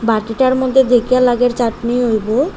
বাটিটার মধ্যে দেইখে লাগের চাটনি হইব।